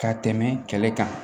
Ka tɛmɛ kɛlɛ kan